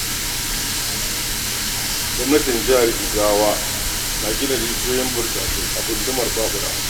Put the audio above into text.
Gwamnatin jihar Jigawa na gina rijiyoyin burtsatse a gundumar Ɓaɓura.